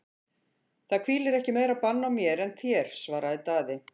Það hvílir ekki meira bann á mér en þér, svaraði Daði.